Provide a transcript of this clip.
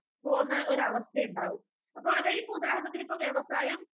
പോകുന്ന ഒരാവസ്ഥയുണ്ടാകും.അപ്പൊ അതായതിപ്പോ ഉദാഹരണത്തിനിപ്പോ വ്യവസായം